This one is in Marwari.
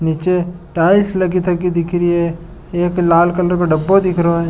नीचे टाइल्स लगी थकी दिख रही है एक लाल कलर को डब्बो दिख रहो है।